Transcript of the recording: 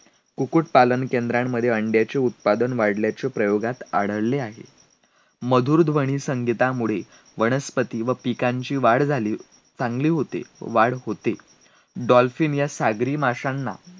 magbet आणि king leyear या नाटकातले काही संवाद इतके काव्यात्मक इतके अर्थगर्भ आणि इतके भावस्पर्शी आहेत.